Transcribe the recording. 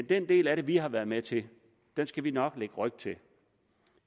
den del af det vi har været med til skal vi nok lægge ryg til